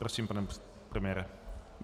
Prosím, pane premiére.